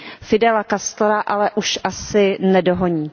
Fidela Castra ale už asi nedohoní.